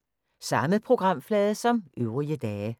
Samme programflade som øvrige dage